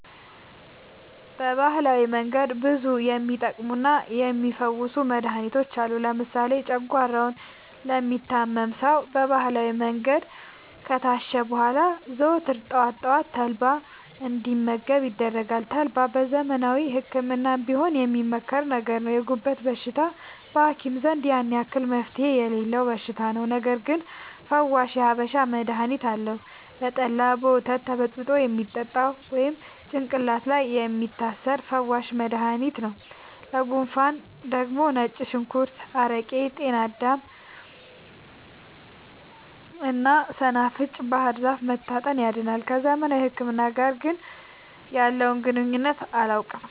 በባህላዊ መንገድ ብዙ የሚቀመሙና የሚ ፈውሱ መድሀኒቶች አሉ። ለምሳሌ ጨጓሯውን ለሚታመም ሰው በባህላዊ መንገድ ከታሸ በኋላ ዘወትር ጠዋት ጠዋት ተልባ እንዲ መገብ ይደረጋል ተልባ በዘመናዊ ህክምናም ቢሆን የሚመከር ነገር ነው። የጉበት በሽታ በሀኪም ዘንድ ያን አክል መፍትሄ የሌለው በሽታ ነው። ነገርግን ፈዋሽ የሀበሻ መድሀኒት አለው። በጠላ፣ በወተት ተበጥብጦ የሚጠጣ ወይም ጭቅላት ላይ የሚታሰር ፈዋሽ መደሀኒት ነው። ለጉንፉን ደግሞ ነጭ ሽንኩርት አረቄ ጤናዳም እና ሰናፍጭ ባህርዛፍ መታጠን ያድናል።። ከዘመናዊ ህክምና ጋር ግን ያለውን ግንኙነት አላውቅም።